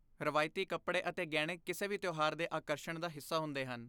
ਰਵਾਇਤੀ ਕੱਪੜੇ ਅਤੇ ਗਹਿਣੇ ਕਿਸੇ ਵੀ ਤਿਉਹਾਰ ਦੇ ਆਕਰਸ਼ਣ ਦਾ ਹਿੱਸਾ ਹੁੰਦੇ ਹਨ।